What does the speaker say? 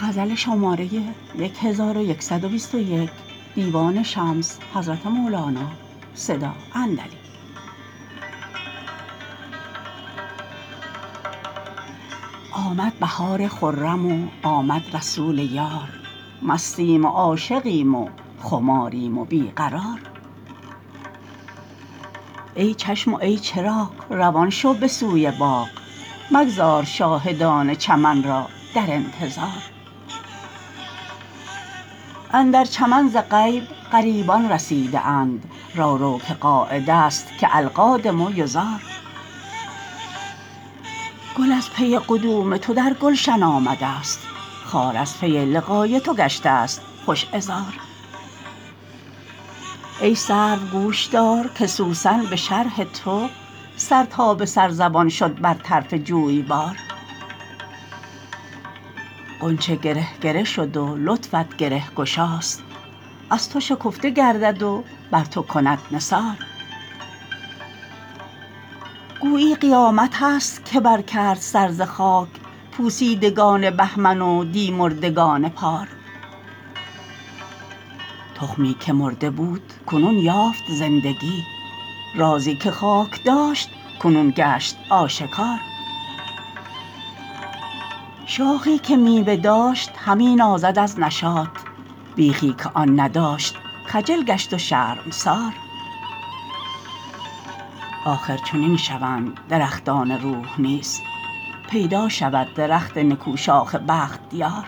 آمد بهار خرم و آمد رسول یار مستیم و عاشقیم و خماریم و بی قرار ای چشم و ای چراغ روان شو به سوی باغ مگذار شاهدان چمن را در انتظار اندر چمن ز غیب غریبان رسیده اند رو رو که قاعدست که القادم یزار گل از پی قدوم تو در گلشن آمدست خار از پی لقای تو گشتست خوش عذار ای سرو گوش دار که سوسن به شرح تو سر تا به سر زبان شد بر طرف جویبار غنچه گره گره شد و لطفت گره گشاست از تو شکفته گردد و بر تو کند نثار گویی قیامتست که برکرد سر ز خاک پوسیدگان بهمن و دی مردگان پار تخمی که مرده بود کنون یافت زندگی رازی که خاک داشت کنون گشت آشکار شاخی که میوه داشت همی نازد از نشاط بیخی که آن نداشت خجل گشت و شرمسار آخر چنین شوند درختان روح نیز پیدا شود درخت نکوشاخ بختیار